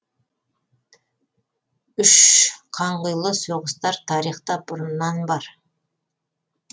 үш қанқұйлы соғыстар тарихта бұрыннан бар